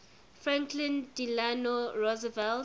franklin delano roosevelt